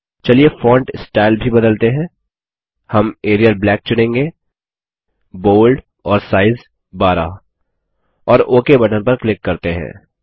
चलिए font style भी बदलते हैं हम एरियल ब्लैक चुनेंगे बोल्ड और साइज़ 12 और ओक बटन पर क्लिक करते हैं